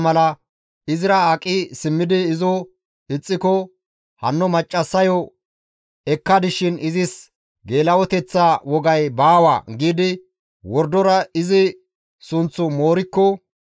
«Hanno maccassayo ekkadis shin izis geela7oteththa wogay baawa» giidi wordora izi sunththu moorikko,